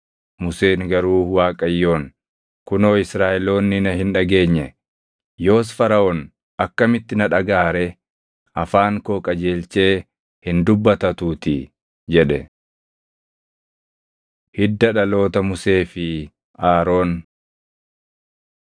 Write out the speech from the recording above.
Museen garuu Waaqayyoon, “Kunoo Israaʼeloonni na hin dhageenye; yoos Faraʼoon akkamitti na dhagaʼa ree? Afaan koo qajeelchee hin dubbatatuutii” jedhe. Hidda Dhaloota Musee fi Aroon